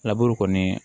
laburu kɔni